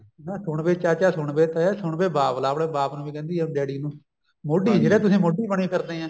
ਕਹਿੰਦਾ ਸੁਣ ਵੇ ਚਾਚਾ ਸੁਣ ਵੇ ਤੇ ਸੁਣ ਵੇ ਬਾਬੁਲਾ ਆਪਣੇ ਬਾਪ ਨੂੰ ਵੀ ਕਹਿੰਦੀ ਐ daddy ਨੂੰ ਮੋਡੀ ਜਿਹੜੇ ਤੁਸੀਂ ਮੋਡੀ ਬਣੇ ਫਿਰਦੇ ਐ